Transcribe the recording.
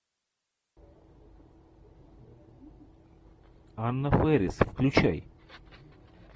анна фэрис включай